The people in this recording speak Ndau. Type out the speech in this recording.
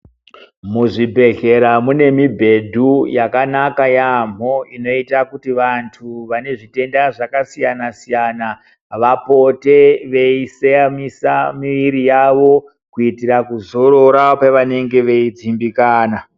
Muzvibhedhlera mune mubhedhu yakanaka yaamho inoota kuti vantu vane zvitenda zvakasiyana siyana vapote veiseyamisa miri yavo kuitira kuzorora pevanenge veidzimbikana.